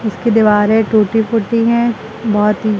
उसकी दीवारें टूटी फूटी हैं बहुत ही।